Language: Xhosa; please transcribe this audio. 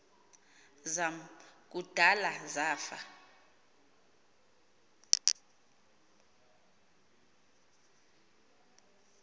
zam kudala zafa